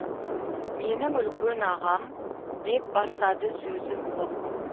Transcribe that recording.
менің үлкен ағам деп бастады сөзін ол